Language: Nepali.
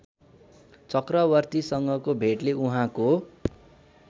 चक्रवर्तीसँगको भेटले उहाँको